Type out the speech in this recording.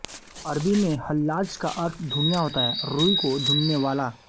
अरबी में हल्लाज का अर्थ धुनिया होता है रूई को धुनने वाला